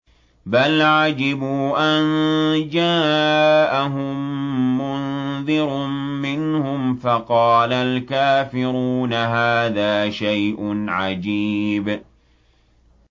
بَلْ عَجِبُوا أَن جَاءَهُم مُّنذِرٌ مِّنْهُمْ فَقَالَ الْكَافِرُونَ هَٰذَا شَيْءٌ عَجِيبٌ